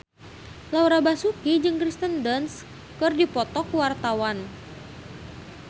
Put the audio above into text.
Laura Basuki jeung Kirsten Dunst keur dipoto ku wartawan